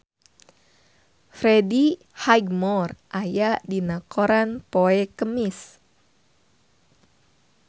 Freddie Highmore aya dina koran poe Kemis